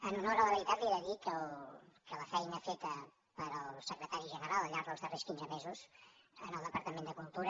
en honor a la veritat li he de dir que la feina feta pel secretari general al llarg dels darrers quinze mesos al departament de cultura